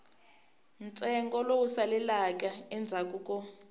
ntsengo lowu saleleke endzhaku ko